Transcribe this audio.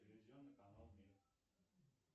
телевизионный канал мир